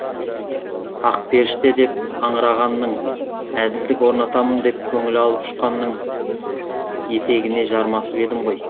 ақперіште деп аңырағанның әділдік орнатамын деп көңілі алып ұшқанның ақ етегіне жармасып едім ғой